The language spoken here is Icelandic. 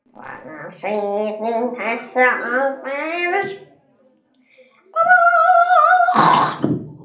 Þar segir um þessa aðferð